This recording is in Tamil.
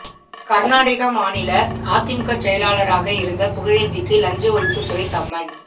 கரநாடக மாநில அதிமுக செயலாளராக இருந்த புகழேந்திக்கு லஞ்ச ஒழிப்பு துறை சம்மன்